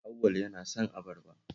Auwal yana son abarba